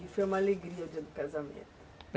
E foi uma alegria o dia do casamento?